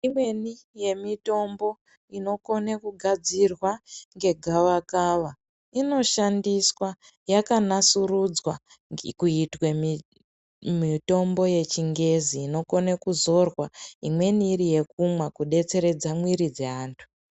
Imweni yemitombo inokona kugadzirwa ngegava kava Inoshandiswa yakanasurudzwa kuitwa mitombo yechingezi inokona kuzorwa imweni iri yekumwa kudetseredza mwiri yevantu.